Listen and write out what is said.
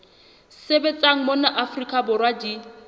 sebetsang mona afrika borwa di